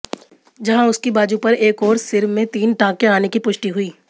जहां उसकी बाजू पर एक और सिर में तीन टांके आने की पुष्टि हुई